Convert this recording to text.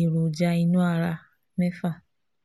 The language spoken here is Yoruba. èròjà inú ara mefa